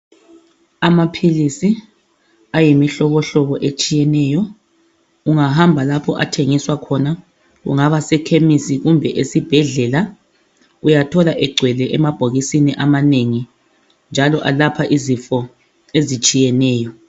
Amaphilisi ayimihlobo hlobo etshiyeneyo ungahamba lapha athengiswa khona kungaba sekhemisi kumbe esibhedlela uyathola egcwele, emabhokisini amanengi njalo alapha izifo ezitshiyeneyo